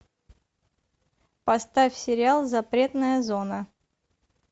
поставь сериал запретная зона